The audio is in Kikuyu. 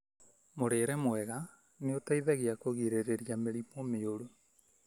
Mũrĩre mwega nĩ ũteithagia kũgirĩrĩria mĩrimu mĩuru.